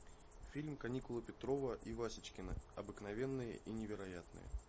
фильм каникулы петрова и васечкина обыкновенные и невероятные